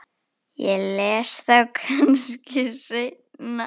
Ég les þá kannski seinna.